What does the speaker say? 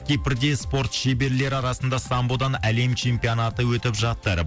кипрде спорт шеберлері арасында самбодан әлем чемпионаты өтіп жатыр